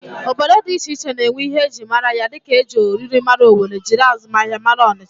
Obodo dị iche iche na-enwe ihe e ji mara ya dịka e ji oriri mara Owere, jiri azụmahịa mara Ọnịcha